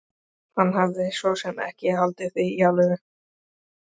Hann hafði svo sem ekki haldið það í alvöru.